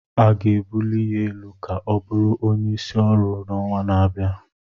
A ga-ebuli ya elu ka ọ bụrụ onyeisi ọrụ n'ọnwa na-abịa